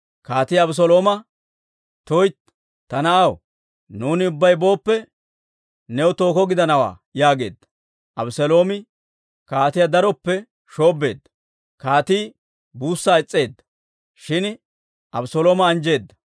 Kaatii Abeselooma, «Tuytti ta na'aw! Nuuni ubbay booppe, new tookko gidanawaa» yaageedda. Abeseeloomi kaatiyaa daroppe shoobbeedda; kaatii buussaa is's'eedda; shin Abeselooma anjjeedda.